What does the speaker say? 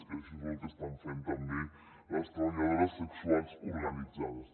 i això és el que estan fent també les treballadores sexuals organitzades